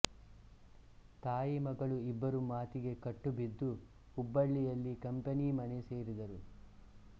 ತಾಯಿ ಮಗಳು ಇಬ್ಬರು ಮಾತಿಗೆ ಕಟ್ತುಬಿದ್ದು ಹುಬ್ಬಳ್ಳಿಯಲ್ಲಿ ಕಂಪನಿ ಮನೆ ಸೇರಿದರು